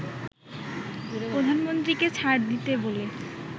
প্রধানমন্ত্রীকে ছাড় দিতে বলে